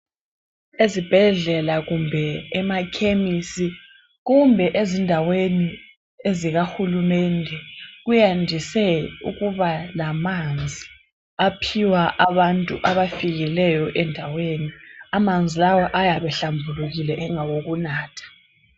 Ezibhedlela kumbe emakhemisi kumbe ezindaweni ezikahulumende kuyandise ukuba lamanzi aphiwa abantu abafikileyo endaweni. Amanzi lawa ayabe hlambulukile engawokunatha.